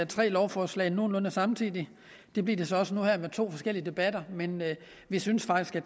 tre lovforslag nogenlunde samtidig det bliver de så også nu her med to forskellige debatter men vi synes faktisk at